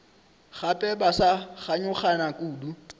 gape ba sa kganyogana kudu